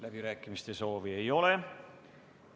Läbirääkimiste soovi ei ole.